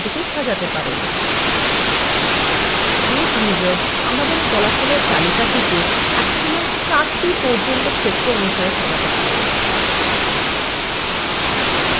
base wizard আমাদের ফলাফলএর তালিকাটিকে একসময় ৪ টি পর্যন্ত ক্ষেত্র অনুসারে সাজাতে পারে